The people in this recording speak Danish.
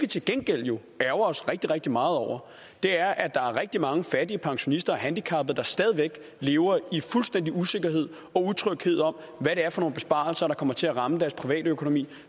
til gengæld jo ærgrer os rigtig rigtig meget over er at er rigtig mange fattige pensionister og handicappede der stadig væk lever i fuldstændig usikkerhed og utryghed om hvad det er for nogle besparelser der kommer til at ramme deres private økonomi